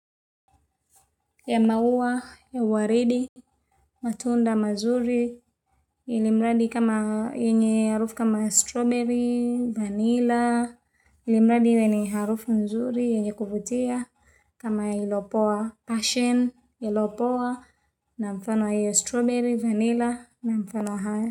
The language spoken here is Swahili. Ya maua ya waridi matunda mazuri ilimradi kama yenye harufu kama strawberry vanilla ilimradi yenye harufu mzuri yenye kuvutia kama iliyopoa passion iliyopoa na mfano hiyo strawberry vanilla na mfano hiyo.